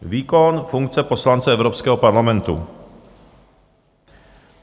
výkon funkce poslance Evropského parlamentu;